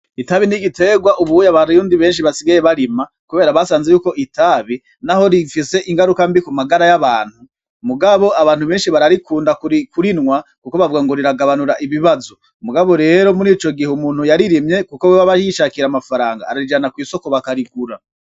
Itabi n'igiterwa ubu abarundi benshi basigaye barima kubera basanzwe yuko itabi naho rifise ingaruka mbi ku magara y'abantu mugabo abantu benshi bararikunda kurinwa kuko bavuga ngo riragabanura ibibazo mugabo rero muri ico gihe umuntu yaririmye kubera yuko abayishakira amafaranga arijana kw'isoko bakarigura.